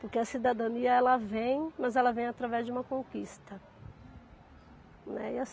Porque a cidadania ela vem, mas ela vem através de uma conquista, né.